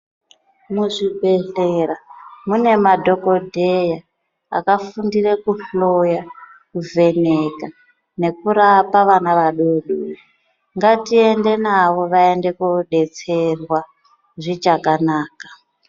Muzvibhedhlera mune madhokodheya akafundire kuhloya kuvheneka nekurapa vana adoodori. Ngatiende navo voodetserwa zvichakanaka.